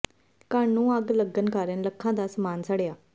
ਘਰ ਨੂੰ ਅੱਗ ਲੱਗਣ ਕਾਰਨ ਲੱਖਾਂ ਦਾ ਸਾਮਾਨ ਸੜਿਆ